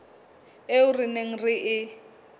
eo re neng re e